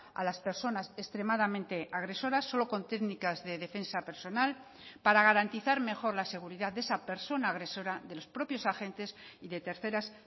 a las personas extremadamente agresoras solo con técnicas de defensa personal para garantizar mejor la seguridad de esa persona agresora de los propios agentes y de terceras